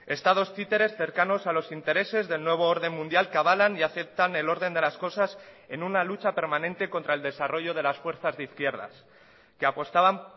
estados títeres cercanos a los intereses del nuevo orden mundial que avalan y aceptan el orden de las cosas en una lucha permanente contra el desarrollo de las fuerzas de izquierdas que apostaban